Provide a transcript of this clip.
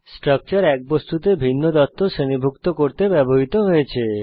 structure এক বস্তুতে ভিন্ন তথ্য শ্রেণীভুক্ত করতে ব্যবহৃত হয়েছে